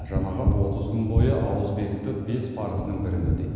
жамағат отыз күн бойы ауыз бекітіп бес парызының бірін өтейді